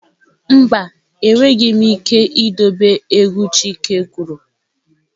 Mba, enweghị m ike idobe egwu chike kwuru.